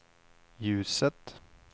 ljuset